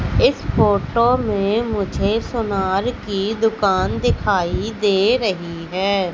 इस फोटो में मुझे सोनार की दुकान दिखाई दे रही है।